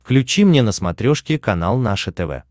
включи мне на смотрешке канал наше тв